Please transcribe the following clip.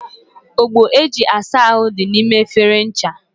Ogbo eji asa ahụ dị n'ime efere ncha.